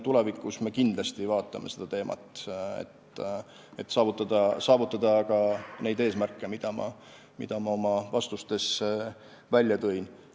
Tulevikus me kindlasti käsitleme seda teemat, et saavutada neid eesmärke, mis ma oma vastustes välja tõin.